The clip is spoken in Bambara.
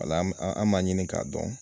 Wala an an m'a ɲini k'a dɔn.